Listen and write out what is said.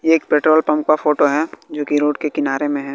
ये एक petrol pump का फोटो है जोकि रोड के किनारे में है।